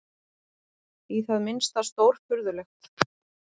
Í það minnsta stórfurðulegt.